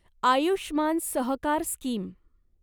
Ayushman Sahakar scheme